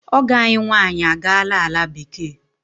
Ọgọ ànyị nwaanyị a gaala ala bekee.